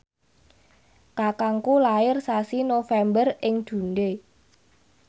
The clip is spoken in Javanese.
kakangku lair sasi November ing Dundee